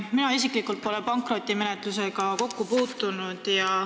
Mina isiklikult pole pankrotimenetlusega kokku puutunud.